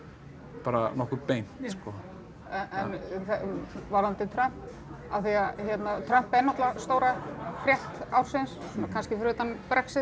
bara nokkuð beint sko en varðandi Trump af því að Trump er náttúrulega stóra frétt ársins svona kannski fyrir utan Brexit